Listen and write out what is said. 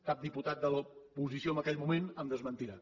cap diputat de l’oposició en aquell moment em desmentirà